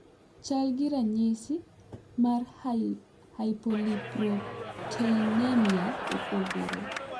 chal gi ranyisi mar hypolipoproteinemia opogore.